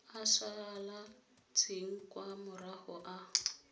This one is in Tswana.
a salatseng kwa morago a